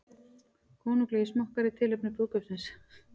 Konunglegir smokkar í tilefni brúðkaupsins